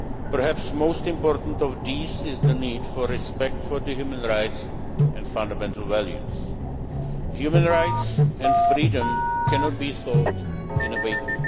Perhaps most important of these is the need for respect for human rights and fundamental values. Human rights and freedom cannot be taught in a vacuum.